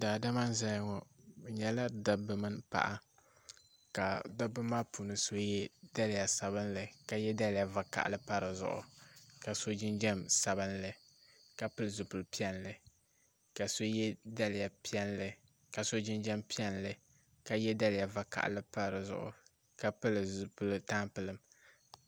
Daadama n zaya ŋɔ bɛ nyɛla dabba mini paɣa ka dabba maa puuni so ye daliya sabinli ka ye daliya vakahali pa di zuɣu ka so jinjiɛm sabinli ka pili zipil'piɛlli ka so ye daliya piɛlli ka so jinjiɛm piɛlli ka ye daliya vakahali pa di zuɣu ka pili zipil'tampilim.